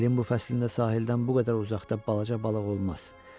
İlin bu fəslində sahildən bu qədər uzaqda balaca balıq olmaz.